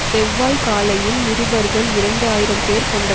செவ்வாய் காலையில் நிருபர்கள் இரண்டு ஆயிரம் பேர் கொண்ட